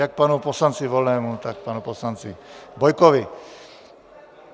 Jak panu poslanci Volnému, tak panu poslanci Bojkovi.